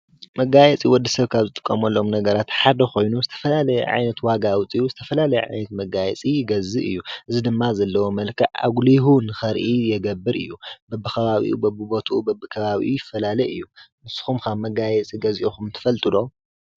መጋየፂ ወዲ ሰብ ካብ ዝጥቀመሎም ነገራት ሓደ ኮይኑ ዝተፈላለየ ዓይነት ዋጋ ኣውፂኡ ዝተፈላለየ ዓይነት መጋየፂ ይገዝእ እዩ ።እዚ ድማ ዘለዎ መልክዕ ኣጉሊሁ ንኸርኢ ይገብር እዩ። በቢኸባቢኡ በቢቦትኡ በቢከባቢኡ ይፈላለ እዩ። ንስኹምከ መጋየፂ ገዚእኹም ትፈልጡ ዶ?